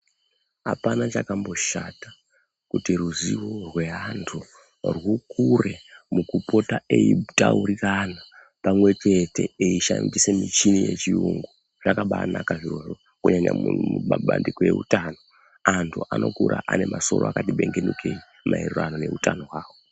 Hapana chakamboshata kuti ruzivo rweantu rwukure mukupota eitaurirana pamwechete eishandise michini yechiyungu. Zvakabaanaka zvirozvo kunyanya mumabandiko eutano. Antu anokura anemasoro akati bengenukei, maererano neutano hwavo.